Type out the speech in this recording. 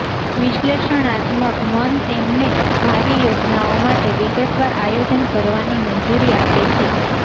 વિશ્લેષણાત્મક મન તેમને ભાવિ યોજનાઓ માટે વિગતવાર આયોજન કરવાની મંજૂરી આપે છે